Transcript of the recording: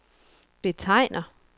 betegner